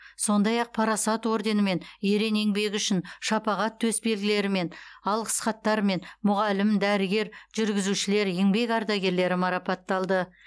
сондай ақ парасат орденімен ерен еңбегі үшін шапағат төсбелгілерімен алғыс хаттармен мұғалім дәрігер жүргізушілер еңбек ардагерлері марапатталды